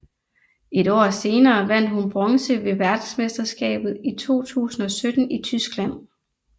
Et år senere vandt hun bronze ved verdensmesterskabet 2017 i Tyskland